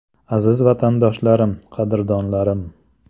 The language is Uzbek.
Aziz vatandoshlarim, qadrdonlarim!